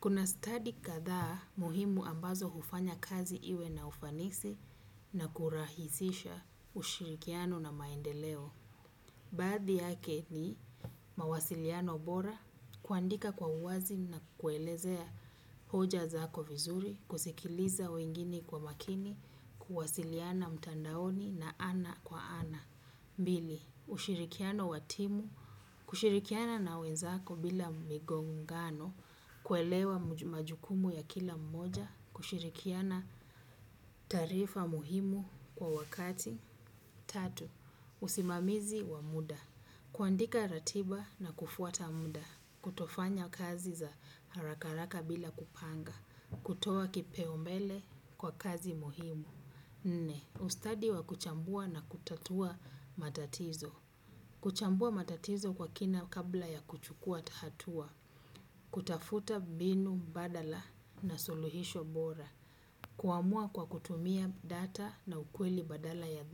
Kuna study kadhaa muhimu ambazo hufanya kazi iwe na ufanisi na kurahisisha ushirikiano na maendeleo. Baadhi yake ni mawasiliano bora, kuandika kwa uwazi na kuelezea hoja zako vizuri, kusikiliza wengine kwa makini, kuwasiliana mtandaoni na ana kwa ana. Mbili, ushirikiano wa timu, kushirikiana na wenzako bila migongano, kuelewa majukumu ya kila mmoja, kushirikiana tarifa muhimu kwa wakati. Tatu, usimamizi wa muda, kuandika ratiba na kufuata muda, kutofanya kazi za haraka haraka bila kupanga, kutoa kipeo mbele kwa kazi muhimu. Nne. Ustadi wa kuchambua na kutatua matatizo. Kuchambua matatizo kwa kina kabla ya kuchukua hatua. Kutafuta mbinu mbadala na suluhisho bora. Kuamua kwa kutumia data na ukweli badala ya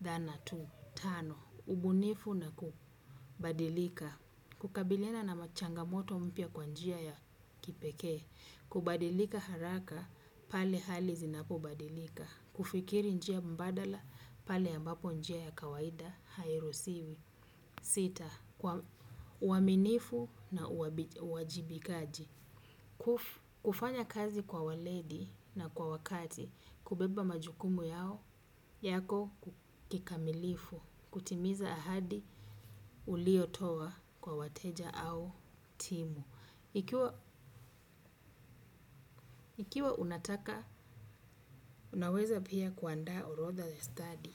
dhana tu. Tano, ugunifu na kubadilika. Kukabiliana na machangamoto mpya kwa njia ya kipekee. Kubadilika haraka, pale hali zinapobadilika. Kufikiri njia mbadala, pale ambapo njia ya kawaida, hairusiwi. Sita, uaminifu na uajibikaji. Kufanya kazi kwa waledi na kwa wakati, kubeba majukumu yao, yako kikamilifu. Kutimiza ahadi uliyotoa kwa wateja au timu. Ikiwa unataka, unaweza pia kuandaa orodha the study.